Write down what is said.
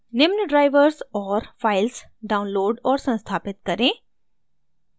निम्न drivers और files download और संस्थापित करें: